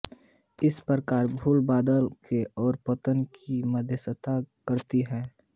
इस प्रकार धूल बादल के और पतन की मध्यस्थता करती है